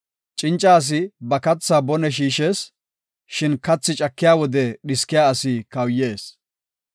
Cinca asi ba kathaa bone shiishees; shin kathi cakiya wode dhiskiya asi kawuyees.